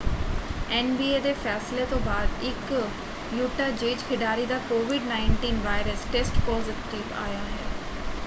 NBA ਦੇ ਫੈਸਲੇ ਤੋਂ ਬਾਅਦ ਇੱਕ ਯੂਟਾ ਜੈਜ਼ ਖਿਡਾਰੀ ਦਾ ਕੋਵਿਡ-19 ਵਾਇਰਸ ਟੈਸਟ ਪਾਜ਼ੀਟਿਵ ਆਇਆ ਹੈ।